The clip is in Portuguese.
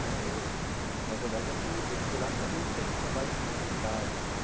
Né eu na verdade, eu fui eu fui lá e acabei fazendo trabalhos humanitários.